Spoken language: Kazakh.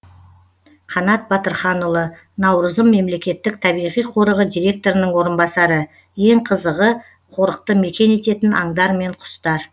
қанат батырханұлы наурызым мемлекеттік табиғи қорығы директорының орынбасары ең қызығы қорықты мекен ететін аңдар мен құстар